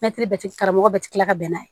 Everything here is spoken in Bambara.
karamɔgɔ bɛɛ ti kila ka bɛn n'a ye